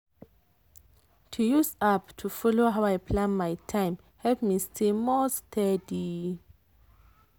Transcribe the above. to use app to follow how i plan my time help me stay more steady.